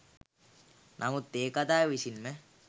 නමුත් ඒ කතාව විසින්ම